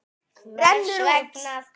Rennur út.